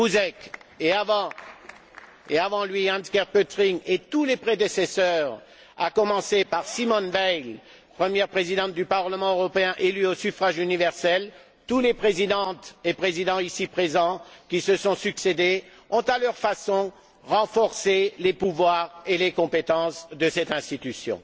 Buzek et, avant lui, Hans Gert Pöttering et tous leurs prédécesseurs, à commencer par Simone Veil, première Présidente du Parlement européen élu au suffrage universel, tous les Présidentes et Présidents ici présents qui se sont succédé ont, à leur façon, renforcé les pouvoirs et les compétences de cette institution.